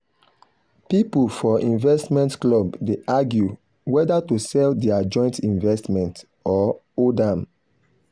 people for investment club dey argue whether to sell their joint investment or hold am.